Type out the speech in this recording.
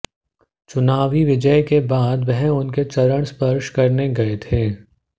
चुनावी विजय के बाद वह उनके चरण स्पर्श करने गए थे